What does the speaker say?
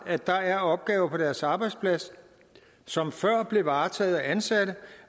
at der er opgaver på deres arbejdsplads som før blev varetaget af ansatte